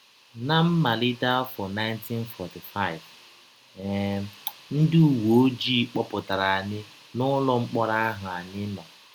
Ná mmalite afọ 1945, um ndị ụwe ọjii kpọpụtara anyị n’ụlọ mkpọrọ ahụ anyị nọ.